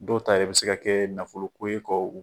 Dɔw ta yɛrɛ bɛ se ka kɛ nafolo ko ye k'o